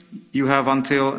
You have until